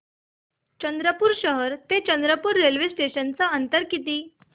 चंद्रपूर शहर ते चंद्रपुर रेल्वे स्टेशनचं अंतर किती